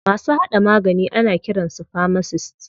Masu haɗa magani ana kiran su famasist.